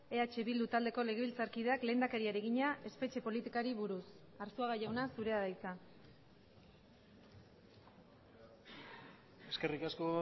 eh bildu taldeko legebiltzarkideak lehendakariari egina espetxe politikari buruz arzuaga jauna zurea da hitza eskerrik asko